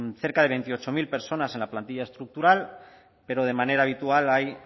cerca de veintiocho mil personas en la plantilla estructural pero de manera habitual hay